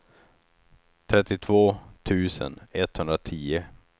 trettiotvå tusen etthundratio